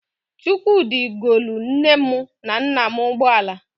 Chukwudi golu nne m na nna m ụgbọala.